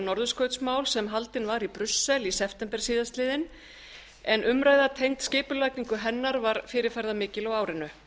norðurskautsmál sem haldin var í brussel í september síðastliðinn en umræða tengd skipulagningu hennar var fyrirferðarmikil á árinu